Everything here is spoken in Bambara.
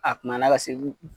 A kunbayala ka se